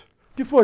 O que foi?